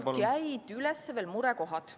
Tegelikult jäid üles murekohad.